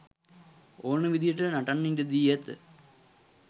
ඕන විදිහට නටන්න ඉඩදී ඇත.